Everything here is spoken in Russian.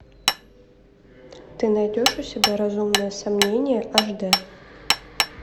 ты найдешь у себя разумное сомнение аш дэ